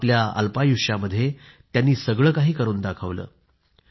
आपल्या अल्पायुष्यामध्ये त्यांनी सगळं काही करून दाखवलं